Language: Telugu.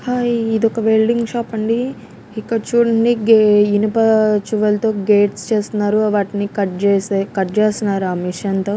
హ ఇది ఒక వెల్డింగ్ షాప్ అండి ఇక్కడ చూడండి గే ఇనుప చువాల్ తో గేట్స్ చేస్తున్నారు వాటిని కట్ చేసే కట్ చేస్తున్నారు ఆ మిషన్ తో.